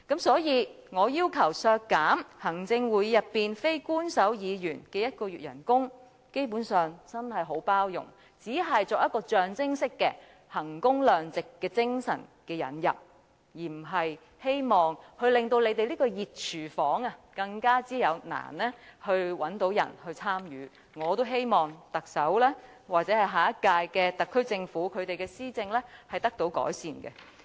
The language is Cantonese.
所以，我要求削減行會內非官守成員1個月薪酬，基本上，真的已很包容，只是象徵式的引入衡工量值的精神，我並非希望令這個"熱廚房"更難找人參與，而是希望特首或下屆特區政府施政能得以改善。